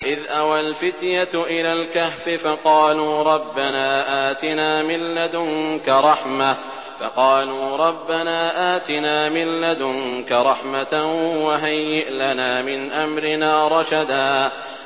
إِذْ أَوَى الْفِتْيَةُ إِلَى الْكَهْفِ فَقَالُوا رَبَّنَا آتِنَا مِن لَّدُنكَ رَحْمَةً وَهَيِّئْ لَنَا مِنْ أَمْرِنَا رَشَدًا